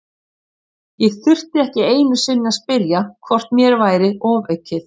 Ég þurfti ekki einu sinni að spyrja hvort mér væri ofaukið.